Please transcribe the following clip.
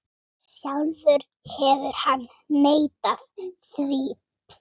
Sjálfur hefur hann neitað því.